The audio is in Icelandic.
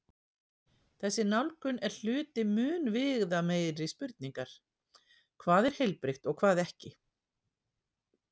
Þessi nálgun er hluti mun viðameiri spurningar: hvað er heilbrigt og hvað ekki?